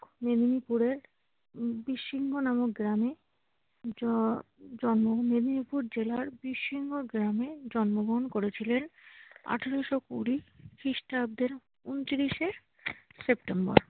মেদিনীপুরের বীরসিংহ নামক গ্রামে জ~ জন্ম নেন। মেদিনীপুর জেলার বীরসিংহ গ্রামে জন্মগ্রহণ করেছিলেন আঠারোশ কুড়ি খ্রিষ্টাব্দের ঊনত্রিশে সেপ্টেম্বর।